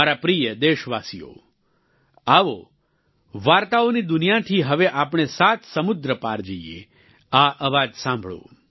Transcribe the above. મારા પ્રિય દેશવાસીઓ આવો વાર્તાઓની દુનિયાથી હવે આપણે સાત સમુદ્ર પાર જઈએ આ અવાજ સાંભળો